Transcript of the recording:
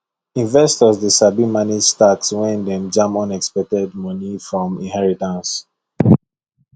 investors dey sabi manage tax when dem jam unexpected money from inheritance